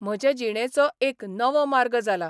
म्हजे जिणेचो एक नवो मार्ग जाला.